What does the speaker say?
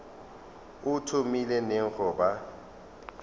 o thomile neng go ba